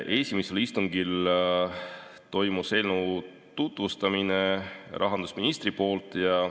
Esimesel istungil toimus eelnõu tutvustamine rahandusministri poolt.